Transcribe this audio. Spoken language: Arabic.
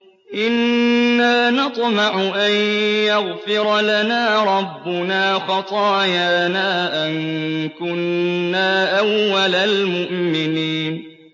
إِنَّا نَطْمَعُ أَن يَغْفِرَ لَنَا رَبُّنَا خَطَايَانَا أَن كُنَّا أَوَّلَ الْمُؤْمِنِينَ